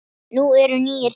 Nú eru nýir tímar.